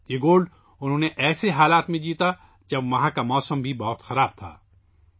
انھوں نے یہ گولڈ ایسے حالات میں جیتا جب وہاں کا موسم بھی بہت خراب تھا